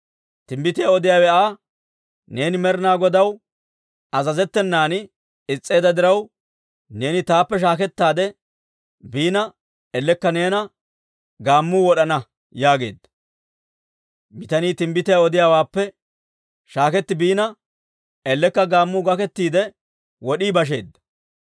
Timbbitiyaa odiyaawe Aa, «Neeni Med'inaa Godaw azazettenan is's'eedda diraw, neeni taappe shaakettaade biina ellekka neena gaammuu wod'ana» yaageedda. Bitanii timbbitiyaa odiyaawaappe shaaketti biina ellekka gaammuu gakettiide wod'ii basheedda.